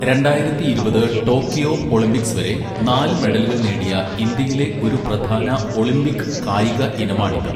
രണ്ടായിരത്തി ഇരുപത് Tokyo Olympics വരെ നാല് മെഡലുകൾ നേടിയ ഇന്ത്യയിലെ ഒരു പ്രധാന ഒളിമ്പിക് കായിക ഇനമാണിത്.